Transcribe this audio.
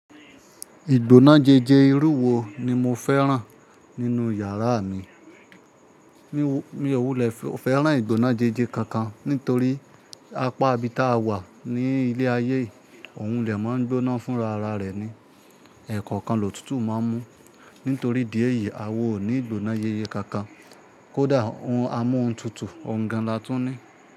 Ìgbóná jeje irúwo wò ni mo fẹ́ràn nínú yàrá mi. Mi ò wulẹ̀ fẹ́ràn ìgbóná jẹjẹ kankan nítorí apá ibi táa wà ní ilé ayé òun lè máa ń gbóná fúnra ara rẹ̀ ni, ẹ̀kọ̀kan lòtútù máa ń mú. Nítorí ìdí di èyí à wa ò ní ìgbóná yeye kànkan. Kódà a mú ohun tuntun ọ̀gangan la tún ní.